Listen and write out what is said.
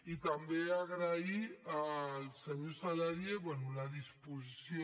i també agrair al senyor saladié la disposició